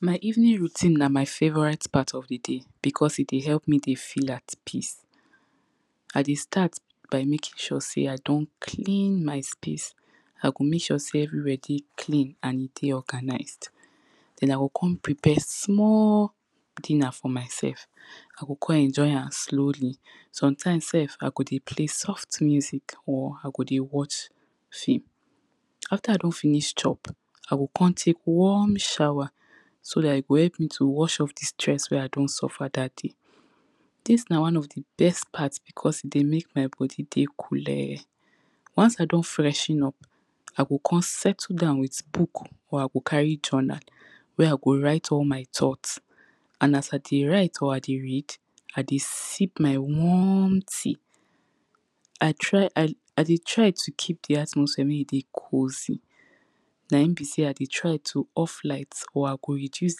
My evening routine na my favorite part of di day becos e dey help me dey feel at peace I dey start by making sure sey i don clean my space I go make sure sey everywhere clean and e dey organized Then I go come prepare small dinner for my sef I go come enjoy am slowly. Sometimes sef I go dey play soft music or I go dey watch film. After I don finish chop, i go come take warm shower So dat e go help to watch off di stress wen I don suffer dat day Dis na one of di best part becos e dey make my body dey koole Once I don freshen up I go come settle down with book or I go carry journal wey I go write all my thought. And as I dey write or I dey read, I dey sip my warm tea I try, I dey try to keep di atmosphere make e dey cozy Naim be sey I dey try to off light or I go reduce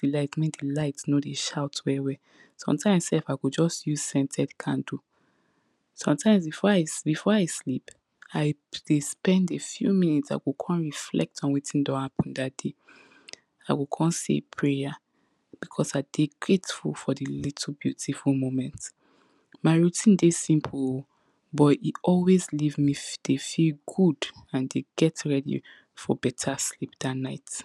di light make di light no dey shout well well Sometimes sef I just use scented candle. Sometimes before I, before I sleep I dey spend a few minutes, I go come reflect on wetin don happen dat day I go come say a prayer becos I dey grateful for di little beautiful moment My routine dey simple oh, but e always live me dey feel good and dey get ready for better sleep dat night